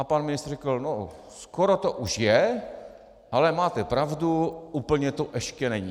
A pan ministr řekl: No skoro to už je, ale máte pravdu, úplně to ještě není.